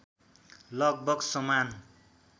लगभग समान